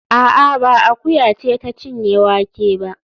A'a, ba akuya ce ta cinye wake ba